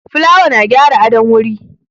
Fulawa na gyara adon wuri